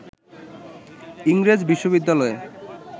ইংরেজ বিশ্ববিদ্যালয়ে